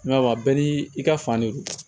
Nka bɛɛ n'i ka fan de don